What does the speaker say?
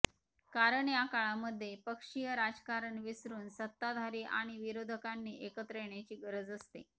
कारण या काळामध्ये पक्षीय राजकारण विसरून सत्ताधारी आणि विरोधकांनी एकत्र येण्याची गरज असते